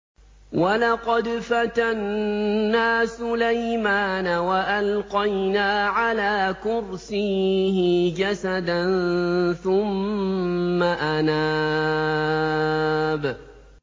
وَلَقَدْ فَتَنَّا سُلَيْمَانَ وَأَلْقَيْنَا عَلَىٰ كُرْسِيِّهِ جَسَدًا ثُمَّ أَنَابَ